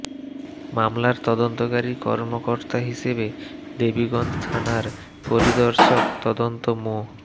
মামলার তদন্তকারী কর্মকর্তা হিসেবে দেবীগঞ্জ থানার পরিদর্শক তদন্ত মো